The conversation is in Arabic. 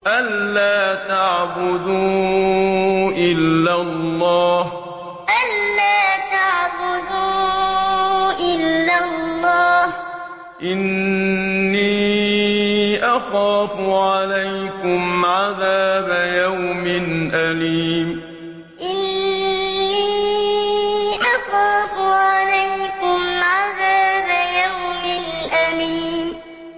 أَن لَّا تَعْبُدُوا إِلَّا اللَّهَ ۖ إِنِّي أَخَافُ عَلَيْكُمْ عَذَابَ يَوْمٍ أَلِيمٍ أَن لَّا تَعْبُدُوا إِلَّا اللَّهَ ۖ إِنِّي أَخَافُ عَلَيْكُمْ عَذَابَ يَوْمٍ أَلِيمٍ